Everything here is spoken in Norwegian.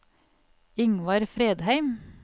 Ingvar Fredheim